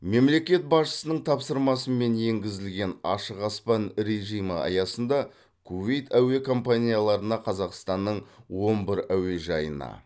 мемлекет басшысының тапсырмасымен енгізілген ашық аспан режимі аясында кувейт әуе компанияларына қазақстанның он бір әуежайына